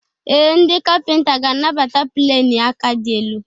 Ee, ndị kapịnta ga-anabata pleni aka dị elu.